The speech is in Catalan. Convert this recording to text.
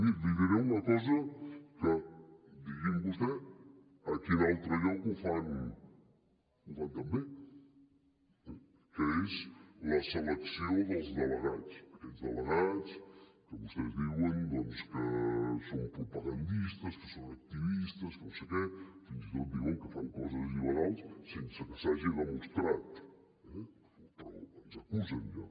miri li diré una cosa que digui’m vostè a quin altre lloc ho fan tan bé que és la selecció dels delegats aquests delegats que vostès diuen que són propagandistes que són activistes que no sé què fins i tot diuen que fan coses il·legals sense que s’hagi demostrat eh però ens acusen ja